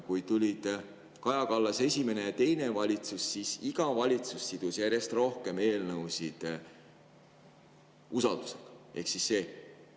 Kui tulid Kaja Kallas esimene ja teine valitsus, siis iga valitsus sidus järjest rohkem eelnõusid usaldus.